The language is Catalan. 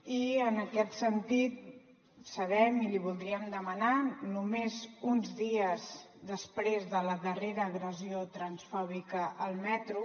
i en aquest sentit sabem i li voldríem demanar només uns dies després de la darrera agressió transfòbica al metro